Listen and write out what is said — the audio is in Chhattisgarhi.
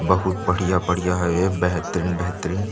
बहुत बढ़िया - बढ़िया हे बेहतरीन - बेहतरीन--